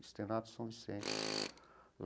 Externato São Vicente.